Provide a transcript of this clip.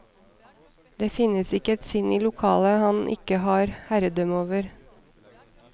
Det finnes ikke et sinn i lokalet han ikke har herredømme over.